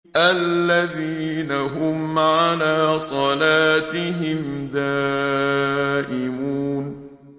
الَّذِينَ هُمْ عَلَىٰ صَلَاتِهِمْ دَائِمُونَ